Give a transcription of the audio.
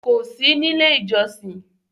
Kò sí nílé-ìjọsin?